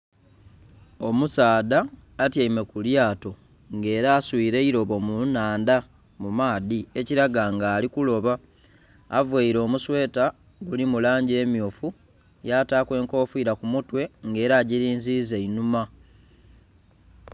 Omusaadha nga atyaime ku lyaato nga era asuire eirobo mu nhandha mu maadhi ekiraga nti ali kuloba, availe omusweta oguli mu langi emyu, yataaku enkofira ku mutwe nga era agirinziza einhuma.